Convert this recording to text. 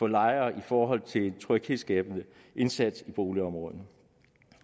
lejere i forhold til en tryghedsskabende indsats i boligområdet